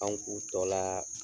An k'u tɔ la.